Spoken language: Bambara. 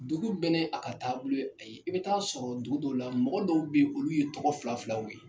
Dugu bɛ nɛ a ka taabolo a ye, i bɛ taa sɔrɔ dugu dɔw la, mɔgɔ dɔw bɛ olu ye tɔgɔ fila filaw ye !